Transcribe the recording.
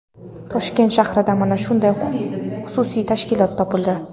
Toshkent shahrida mana shunday xususiy tashkilot topildi.